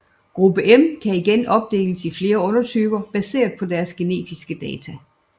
Gruppe M kan igen opdeles i flere undertyper baseret på deres genetiske data